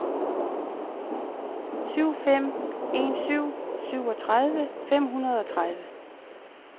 syv fem en syv syvogtredive fem hundrede og tredive